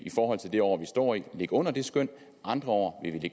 forhold til det år vi står i ligge under det skøn andre år vil vi